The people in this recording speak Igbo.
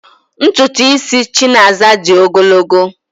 Ntụtụ isi Chinaza dị ogologo